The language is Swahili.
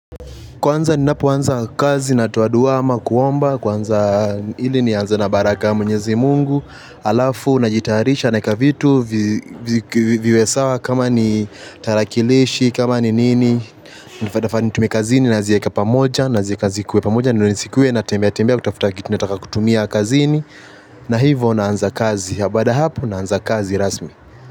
Kwanza ni napoanza kazi na toa dua ama kuomba, kwanza ili ni anza na baraka mwenyezi mungu, alafu na jitayarisha naeka vitu, viwe sawa kama ni tarakilishi, kama ni nini, nifaa nitumie kazini nazieka pamoja, nazieka zikuwe pamoja, ndo nisikuwe na tembea tembea kutafuta kitu nataka kutumia kazini, na hivo na anza kazi, habaada hapo na anza kazi rasmi.